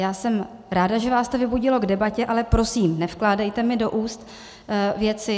Já jsem ráda, že vás to vybudilo k debatě, ale prosím, nevkládejte mi do úst věci.